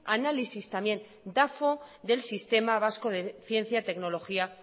análisis dafo del sistema vasco de ciencia tecnología